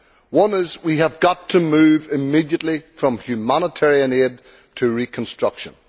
One is that we have got to move immediately from humanitarian aid to reconstruction.